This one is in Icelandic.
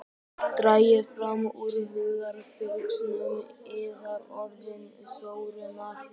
Dragið fram úr hugarfylgsnum yðar orðin Þórunnar.